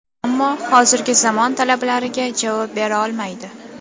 Ammo hozirgi zamon talablariga javob bera olmaydi.